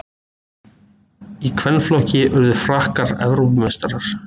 Í kvennaflokki urðu Frakkar Evrópumeistarar